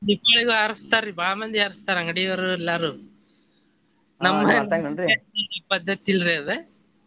ದೀಪಾವಳಿಗು ಹಾರಿಸ್ತಾರಿ ಬಾಳ ಮಂದಿ ಹಾರಿಸ್ತಾರ್ ಅಂಗಡಿಯವರು ಎಲ್ಲಾರು ಪದ್ದತಿ ಇಲ್ರಿ ಅದ್.